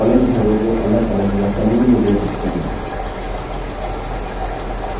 columns तथा rows को अलगअलग या समूह में जोड़ सकते हैं